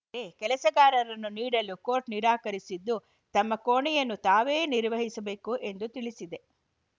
ರೆ ಕೆಲಸಗಾರನನ್ನು ನೀಡಲು ಕೋರ್ಟ್‌ ನಿರಾಕರಿಸಿದ್ದು ತಮ್ಮ ಕೋಣೆಯನ್ನು ತಾವೇ ನಿರ್ವಹಿಸಬೇಕು ಎಂದು ತಿಳಿಸಿದೆ